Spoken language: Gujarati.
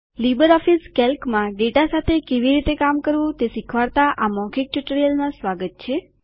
લીબરઓફીસ કેલ્કમાં ડેટા સાથે કેવી રીતે કામ કરવું તે શીખવાડતા આ મૌખિક ટ્યુટોરીયલમાં સ્વાગત છે